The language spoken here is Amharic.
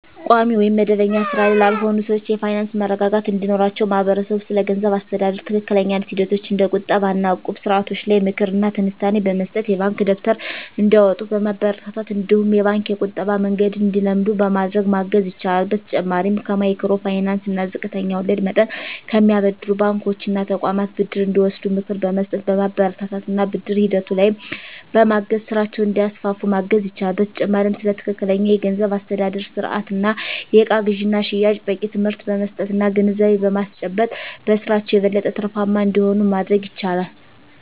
ቋሚ ወይም መደበኛ ሥራ ላይ ላልሆኑ ሰዎች የፋይናንስ መረጋጋት እንዲኖራቸው ማህበረሰቡ ስለገንዘብ አስተዳደር ትክክለኛ ሂደቶች እንደ ቁጠባ እና እቁብ ስርዓቶች ላይ ምክር እና ትንታኔ በመስጠት፣ የባንክ ደብተር እንዲያወጡ በማበረታታት እነዲሁም የባንክ የቁጠባ መንገድን እንዲለምዱ በማድረግ ማገዝ ይችላል። በተጨማሪም ከማይክሮ ፋይናንስ እና ዝቅተኛ ወለድ መጠን ከሚያበድሩ ባንኮች እና ተቋማት ብድር እንዲወስዱ ምክር በመስጠት፣ በማበረታታት እና ብድር ሂደቱ ላይም በማገዝ ስራቸውን እንዲያስፋፉ ማገዝ ይቻላል። በተጨማሪም ስለ ትክክለኛ የገንዘብ አስተዳደር ስርአት እና የእቃ ግዥና ሽያጭ በቂ ትምህርት በመስጠት እና ግንዛቤ በማስጨበጥ በስራቸው የበለጠ ትርፋማ እንዲሆኑ ማድረግ ይቻላል።